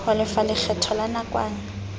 ho lefa lekgetho la nakwana